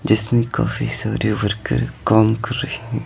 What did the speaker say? जिसने काफी सारे वर्कर काम कर रही ।